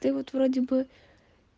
ты вот вроде бы